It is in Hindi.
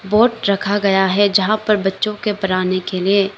बोर्ड रखा गया है जहां पर बच्चों के पढ़ाने के लिए--